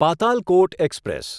Patalkot express